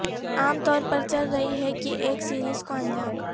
عام طور پر چل رہی ہے کی ایک سیریز کو انجام